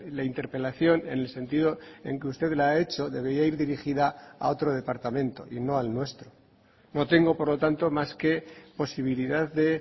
la interpelación en el sentido en que usted la ha hecho debería ir dirigida a otro departamento y no al nuestro no tengo por lo tanto más que posibilidad de